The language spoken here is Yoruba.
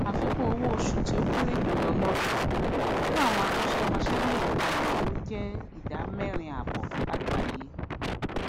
àfikún owó osù tí ó kéré jùlọ lódún fún àwọn akósé mosé ní èka ìnáwó jé ìdá méèrin àbò láàgbáyé